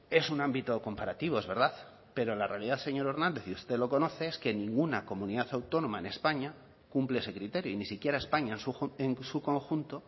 es un ámbito comparativo es verdad pero la realidad señor hernández y usted lo conoce es que ninguna comunidad autónoma en españa cumple ese criterio y ni siquiera españa en su conjunto